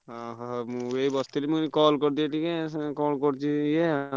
ଓହୋ। ମୁଁ ଏଇ ବସିଥିଲି ମୁଁ କହିଲି call କରିଦିଏ ଟିକେ କଣ କରୁଛି ସିଏ।